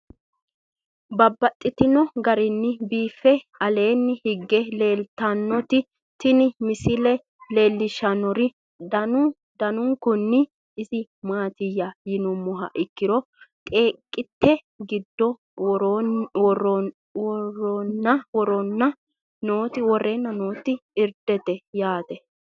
Babaxxittinno garinni biiffe aleenni hige leelittannotti tinni misile lelishshanori danu danunkunni isi maattiya yinummoha ikkiro xeeqette giddo woreenna nootti irdete yaatte.